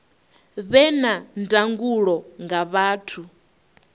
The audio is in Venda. vhe na ndangulo nga vhathu